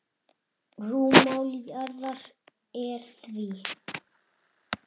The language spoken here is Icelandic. Rúmmál jarðar er því